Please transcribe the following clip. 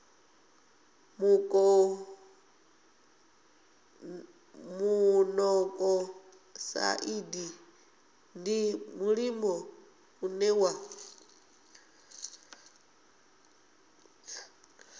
monokosaidi ndi mulimo une wa